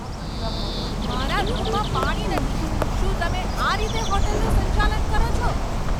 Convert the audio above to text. મારા રૂમમાં પાણી નથી! શું તમે આ રીતે હોટલનું સંચાલન કરો છો?